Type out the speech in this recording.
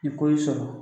Ni ko y'i sɔrɔ